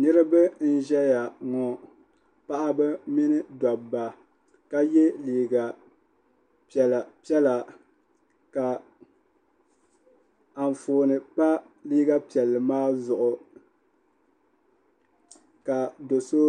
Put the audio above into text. niriba n-ʒeya ŋɔ paɣa mini dabba ka ye liiga piɛla piɛla ka anfooni pa liiga piɛlli maa zuɣu ka do' so